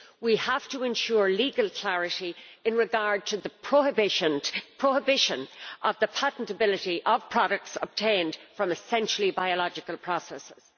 We have to ensure legal clarity in regard to the prohibition of the patentability of products obtained from essentially biological processes.